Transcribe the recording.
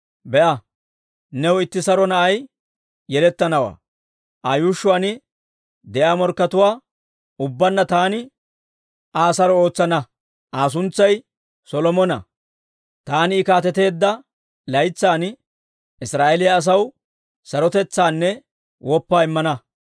Be'a; new itti saro na'i yelettanawaa. Aa yuushshuwaan de'iyaa morkkatuwaa ubbaanna taani Aa saro ootsana. Aa suntsay Solomona; taani I kaateteedda laytsan Israa'eeliyaa asaw sarotetsaanne woppaa immana.